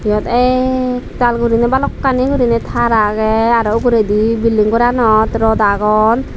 iyot ektal guriney balokkani guriney tar age aro uguredi building goranot rod agon.